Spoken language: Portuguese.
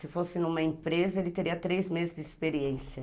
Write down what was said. Se fosse numa empresa, ele teria três meses de experiência.